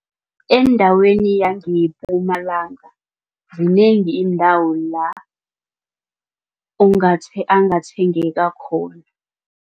Endaweni yangePumalanga zinengi iindawo la angathengeka khona.